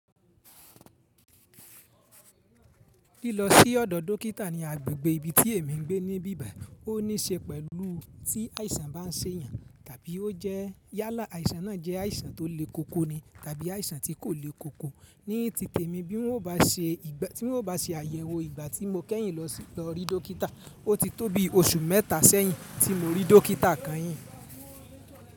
Lílọ sí ọ̀dọ̀ dókítà ní agbègbè ibi tí èmi ń gbé ní bíbà, ó níí ṣe pẹ̀lú tí àìsàn bá ń ṣe èèyàn. Tàbí ó jẹ́ yálà àìsàn náà jẹ́ àìsàn tó le koko ni tàbí àìsàn tí kò le koko. Ní ti tèmi bí wọ́n ò bá ṣe àyẹ̀wò ìgbà tí mo kẹ́yìn lọ rí dókítà, ó ti tó bí oṣù mẹ́ta sẹ́yìn tí mo rí dókítà kányìn.